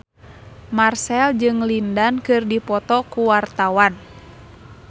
Marchell jeung Lin Dan keur dipoto ku wartawan